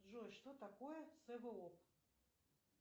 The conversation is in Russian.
джой что такое своп